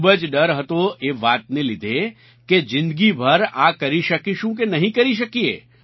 ખૂબ જ ડર હતો એ વાતને લીધે કે જિંદગીભર આ કરી શકીશું કે નહીં કરી શકીએ